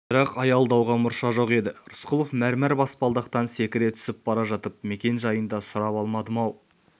бірақ аялдауға мұрша жоқ еді рысқұлов мәрмәр баспалдақтан секіре түсіп бара жатып мекен-жайын да сұрап алмадым-ау